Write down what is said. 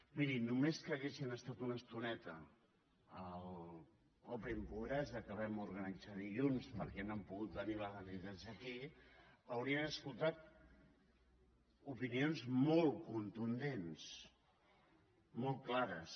miri només que haguessin estat una estoneta a l’open pobresa que vam organitzar dilluns perquè no han pogut venir les entitats avui haurien sentit opinions molt contundents molt clares